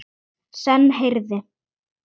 Senn heyrði